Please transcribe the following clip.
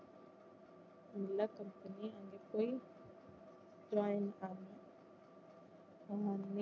நல்லா select பண்ணி அதுல போயி joint பண்ணேன்